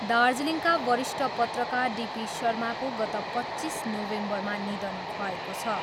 दार्जीलिङका वरिष्ठ पत्रकार डिपी शर्माको गत पच्चिस नोभेम्बरमा निधन भएको छ।